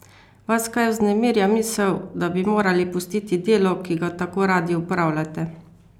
Vas kaj vznemirja misel, da bi morali pustiti delo, ki ga tako radi opravljate?